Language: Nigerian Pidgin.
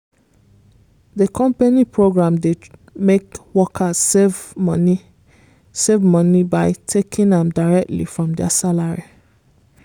the company program dey make workers save money save money by taking am directly from dia salary.